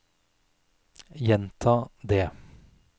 gjenta det